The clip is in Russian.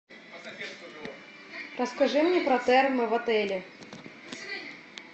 расскажи мне про термы в отеле